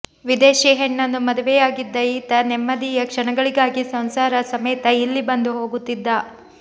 ವಿದೇಶಿ ಹೆಣ್ಣನ್ನು ಮದುವೆಯಾಗಿದ್ದ ಈತ ನೆಮ್ಮದಿಯ ಕ್ಷಣಗಳಿಗಾಗಿ ಸಂಸಾರ ಸಮೇತ ಇಲ್ಲಿ ಬಂದು ಹೋಗುತ್ತಿದ್ದ